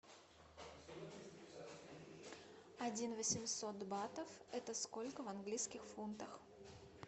один восемьсот батов это сколько в английских фунтах